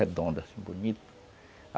Redonda assim, bonito.